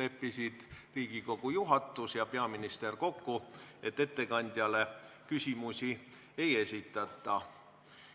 leppisid Riigikogu juhatus ja peaminister kokku, et ettekandjale küsimusi ei esitata.